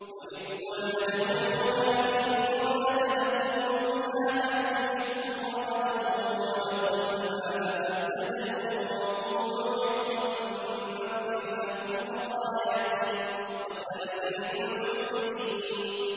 وَإِذْ قُلْنَا ادْخُلُوا هَٰذِهِ الْقَرْيَةَ فَكُلُوا مِنْهَا حَيْثُ شِئْتُمْ رَغَدًا وَادْخُلُوا الْبَابَ سُجَّدًا وَقُولُوا حِطَّةٌ نَّغْفِرْ لَكُمْ خَطَايَاكُمْ ۚ وَسَنَزِيدُ الْمُحْسِنِينَ